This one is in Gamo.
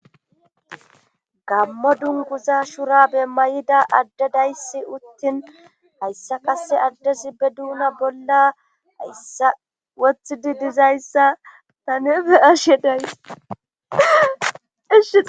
Gammo dunkuza shura be may'ida adde dayssi uttin hayssa kase addesi be duuna bolla hayssa wothidi dizayssa ta nefe ashe days